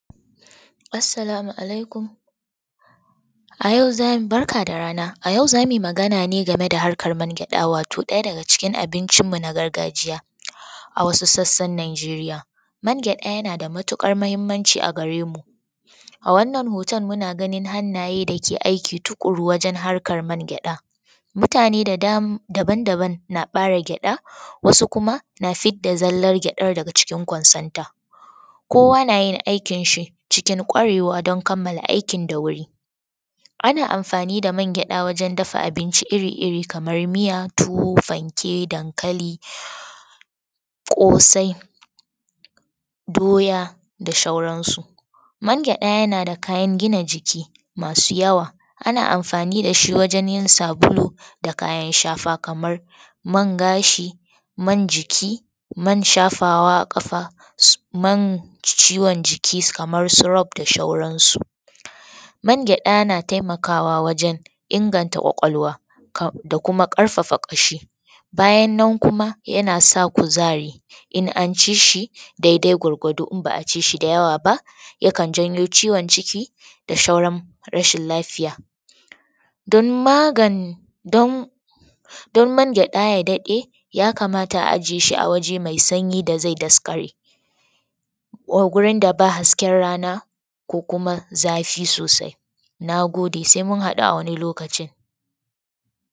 Assalamu alaikum, barka da rana a yau za mu yi magana ne akan man gyaɗa wato ɗaya daga cikin abincinmu na gargajiya a wasu sassan Nijeriya man gyaɗa yana da matuƙar mahimmanci a gare mu. A wannan hoton mun a ganin hannaye dake aiki tukuru wajen man gyaɗa, mutane daban-daban na ɓare gyaɗa wasu kuma na fidda zallar gyaɗan daga cikin ƙwansonta kowa na yi aikiin shi cikin ƙwarewa don kammala aikin da wuri. Ana amfani da man gyaɗa wajen abinci iri-iri kamar miya tuwo fanke dankali kosai dota da sauransu. Man gyada yana da kayan gina jiki masu yawa ana amfani da shi wajen yin sabulu da kayan shafa, kamar man gashi, man shafawa a kafa, man ciwon jiki kamar su Rob da saurasu. Man gyaɗa na taimakawa wajen inganta ƙwaƙwalwa da kuma ƙarfafa ƙashi. Bayana nan yana sa kuzari in an ci shi daidai gwargwado idan ba aci shi da yawa ba yakan janyo ciwon ciki da rashin lafiya. Don man gyaɗa ya dade ya kamata a ajiye shi a wuri mai sanyi don ya daskare ko gurin da ba hasken rana ko zafi sosai. Na gode, sai mun haɗu a wani lokacin